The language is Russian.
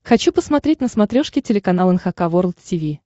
хочу посмотреть на смотрешке телеканал эн эйч кей волд ти ви